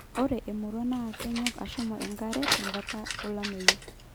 ore emurua naa kenyok aashum enkare tenkata ulameyu